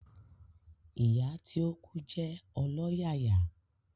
Ìyá tí o kú jé ọlọ́yàyà